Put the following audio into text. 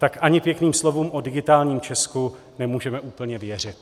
Tak ani pěkným slovům o digitálním Česku nemůžeme úplně věřit.